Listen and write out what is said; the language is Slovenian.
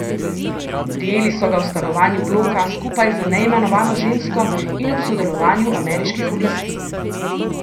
Prijeli so ga v stanovanju bloka skupaj z neimenovano žensko in ob sodelovanju ameriških oblasti.